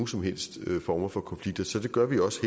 som helst form for konflikt så det gør vi også